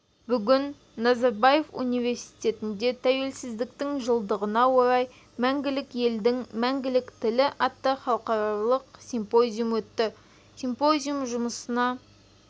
бүгін назарбаев университетінде тәуелсіздіктің жылдығына орай мәңгілік елдің мәңгілік тілі атты халықаралық симпозиум өтті симпозиум жұмысына